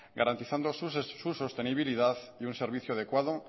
garantizando su sostenibilidad y un servicio adecuado